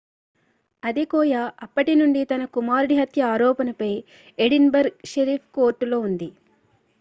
Adekoya అప్పటి నుండి తన కుమారుడిహత్య ఆరోపణపై ఎడిన్ బర్గ్ షెరీఫ్ కోర్టులో ఉంది